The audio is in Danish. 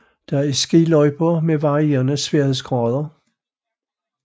Der er skiløjper med varierende sværhedsgrader